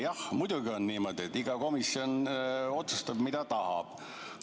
Jah, muidugi on niimoodi, et iga komisjon otsustab, mida tahab.